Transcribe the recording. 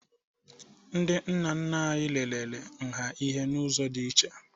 Ndị nna nna anyị lelere nha ihe n'ụzọ dị iche